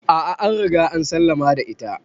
A'a an Riga an sallama da ita.